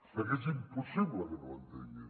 perquè és impossible que no ho entengui